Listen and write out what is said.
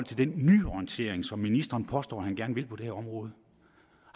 den nyorientering som ministeren påstår han gerne vil have på det her område